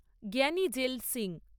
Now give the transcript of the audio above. জ্ঞানী জেল সিং